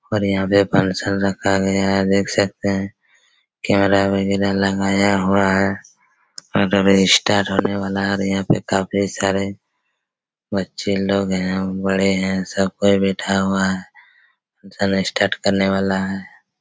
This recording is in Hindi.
और यहाँ पे फंक्शन रखा गया है देख सकते है कैमरा वगैरा लगाया हुआ है और ये स्टार्ट होने वाला है और यहाँ पे काफी सारे बच्चे लोग है और बड़े है सब कोई बैठा हुआ है चलो स्टार्ट करने वाला है।